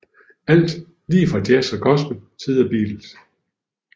Alt lige fra jazz og gospel til The Beatles